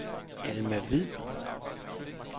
Alma Hviid